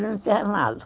internado